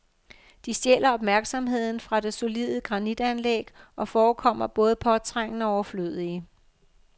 De stjæler opmærksomheden fra det solide granitanlæg og forekommer både påtrængende og overflødige.